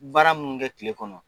Baara munnu b' i kɛ kile kɔnɔ